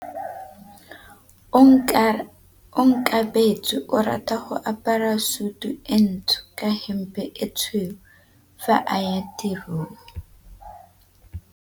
Onkabetse o rata go apara sutu e ntsho ka hempe e tshweu fa a ya tirong.